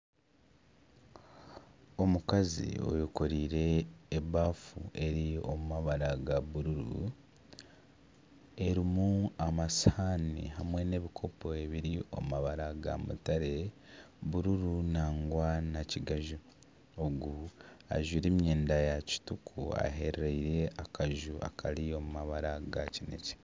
Omukazi ayekoreire ebaafu eri omu mabara ga bururu ,erimu amasihaani hamwe nana ebikopo ebiri omu mabara ga mutare, bururu nangwa na kigaju, ogu ajwaire emyenda ya kituku, aherereire akaju akari omu mabara ga kinekye.